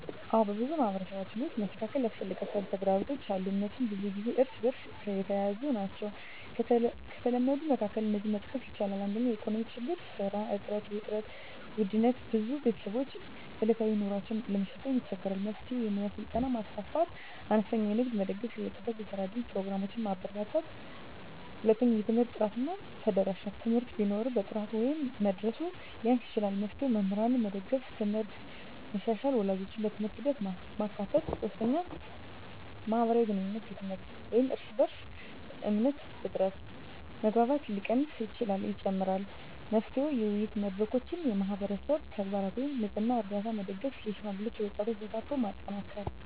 አዎን፣ በብዙ ማህበረሰቦች ውስጥ መስተካከል ያስፈልጋቸው ተግዳሮቶች አሉ፤ እነሱም ብዙ ጊዜ እርስ በእርስ የተያያዙ ናቸው። ከተለመዱት መካከል እነዚህን መጥቀስ ይቻላል፦ 1) የኢኮኖሚ ችግኝ (ስራ እጥረት፣ ውድነት): ብዙ ቤተሰቦች ዕለታዊ ኑሮን ለመሸከም ይቸገራሉ። መፍትሄ: የሙያ ስልጠና ማስፋፋት፣ አነስተኛ ንግድን መደገፍ፣ የወጣቶች የስራ እድል ፕሮግራሞችን ማበርታት። 2) የትምህርት ጥራት እና ተደራሽነት: ትምህርት ቢኖርም ጥራቱ ወይም መድረሱ ሊያንስ ይችላል። መፍትሄ: መምህራንን መደገፍ፣ ት/ቤቶችን መሻሻል፣ ወላጆችን በትምህርት ሂደት ማካተት። 3) የማህበራዊ ግንኙነት ድክመት (እርስ በእርስ እምነት እጥረት): መግባባት ሲቀንስ ችግኝ ይጨምራል። መፍትሄ: የውይይት መድረኮች፣ የማህበረሰብ ተግባራት (ንፅህና፣ ርዳታ) መደገፍ፣ የሽማግሌዎችና የወጣቶች ተሳትፎን ማጠናከር።